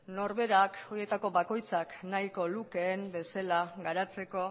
norberak horietako bakoitzak nahiko lukeen bezala garatzeko